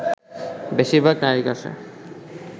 বেশিরভাগ নারীর কাছে